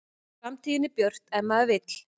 Framtíðin er björt ef maður vill